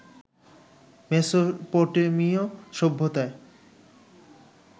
মেসোপটেমিয় সভ্যতায়